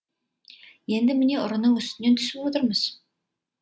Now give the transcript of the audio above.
енді міне ұрының үстінен түсіп отырмыз